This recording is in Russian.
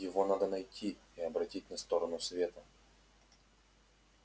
его надо найти и обратить на сторону света